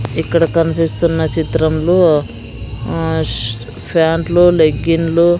ఇక్కడ కన్పిస్తున్న చిత్రంలో ఆ ప్యాంట్లు లెగ్గిండ్లు --